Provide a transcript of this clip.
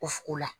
O f o la